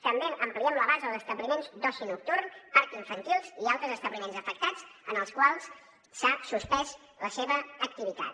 també ampliem la base als establiments d’oci nocturn parcs infantils i altres establiments afectats en els quals s’ha suspès l’activitat